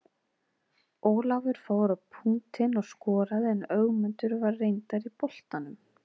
Ólafur fór á punktinn og skoraði en Ögmundur var reyndar í boltanum.